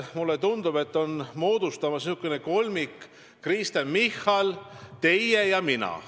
Mulle tundub, et on moodustumas selline kolmik: Kristen Michal, teie ja mina.